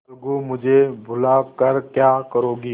अलगूमुझे बुला कर क्या करोगी